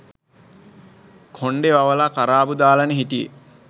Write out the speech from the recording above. කොණ්ඩේ වවලා කරාබු දාලනේ හිටියේ